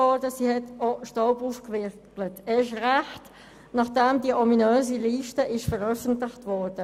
Sie hat auch Staub aufgewirbelt, erst recht, nachdem die ominöse Liste veröffentlicht wurde.